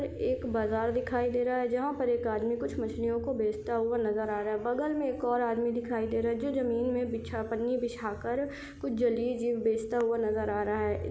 एक बाजार दिखाई दे रहा है जहाँ पर एक आदमी कुछ मछलियों को बेचता हुआ नज़र आ रहा है बगल में एक और आदमी दिखाई दे रहा है जो जमीन में बिछा पन्नी बिछाकर कुछ जलीय जीव बेचता हुआ नज़र आ रहा है।